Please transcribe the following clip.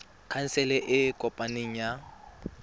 khansele e e kopaneng ya